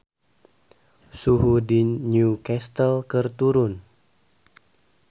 Suhu di New Castle keur turun